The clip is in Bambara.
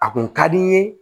A kun ka di n ye